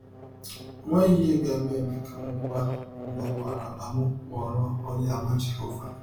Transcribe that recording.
Ọ nweghị ihe ga - eme eme ka m kwaa mmakwaara na m ghọrọ Ọnyeàmà Jehọva.